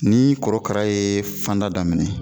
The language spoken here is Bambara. Ni korokara ye fanda daminɛ